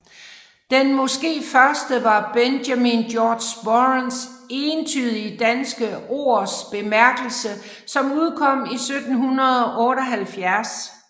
Den måske første var Benjamin Georg Sporons Eentydige danske Ords Bemærkelse som udkom i 1778